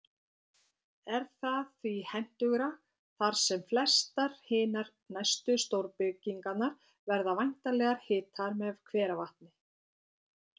Er það því hentugra, þar sem flestar hinar næstu stórbyggingar verða væntanlega hitaðar með hveravatni.